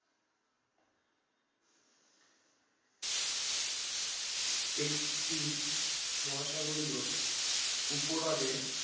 একটি মহাসাগরীয় উপহ্রদে